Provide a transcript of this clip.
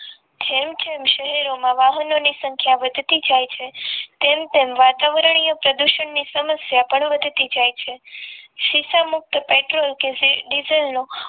જેમ જેમ શહેરોમાં વાહનોની સંખ્યા વધતી જાય છે તેમ તેમ વાતાવરણીય પ્રદૂષણ ની સમસ્યા પણ વધતી જાય છે શીશામુક્ત પેટ્રોલ કે ડીઝલનો